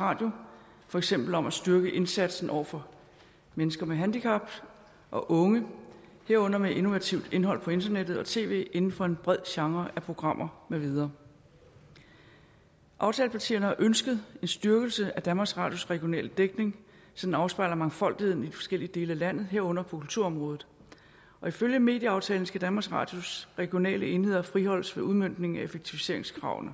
radio for eksempel om at styrke indsatsen over for mennesker med handicap og unge herunder med innovativt indhold på internettet og tv inden for en bred genre af programmer med videre aftalepartierne har ønsket en styrkelse af danmarks radios regionale dækning så den afspejler mangfoldigheden i de forskellige dele af landet herunder på kulturområdet ifølge medieaftalen skal danmarks radios regionale enheder friholdes ved udmøntningen af effektiviseringskravene